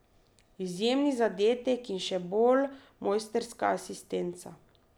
Izjemni zadetek in še bolj mojstrska asistenca!